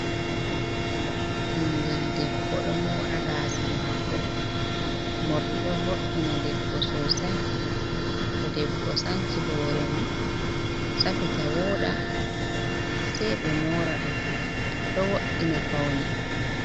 Ɓingel debbo ɗo moora gaasa maako, morɗi ɗo vo’ina debbo sosai, to debbo sanci hoore mum safita wooɗa sei ɓe moora ɗum, ɗo wo’ina paune.